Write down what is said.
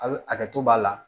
A hakɛ to b'a la